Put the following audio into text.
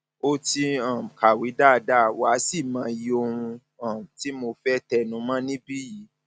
o ti um kàwé dáadáa wà á sì mọyì ohun um tí mo fẹ tẹnu mọ níbí yìí